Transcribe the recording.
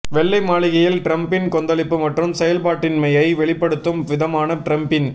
வெள்ளை மாளிகையில் டிரம்பின் கொந்தளிப்பு மற்றும் செயல்பாட்டின்மையை வெளிப்படுத்தும் விதமாக டிரம்பின்